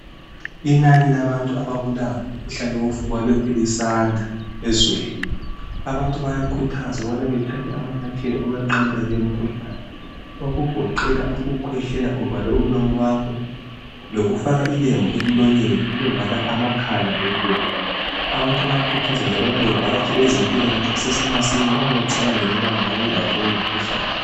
inani labantu ababulawa ngumkhuhlane wofuba lokhe lisanda ezweni abantu bayakhuthazwa ukubana bathathe amanyathela ukwenqabela le mikhuhklane okugoqela ukukhwehklela uvale umlomo wakho lokufaka ilembu emlonyeni uvala amakhala lomlomo abantu bayakhuthazwa ukubana bavakatshele ezempilakahle kusese masinya uma becabangela ukuthi bengaba belawo lowo umkhuhklane